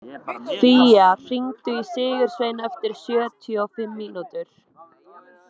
Fía, hringdu í Sigursvein eftir sjötíu og fimm mínútur.